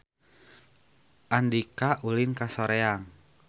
Andika ulin ka Soreang